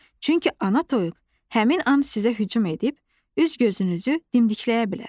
Çünki ana toyuq həmin an sizə hücum edib, üz-gözünüzü dimdikləyə bilər.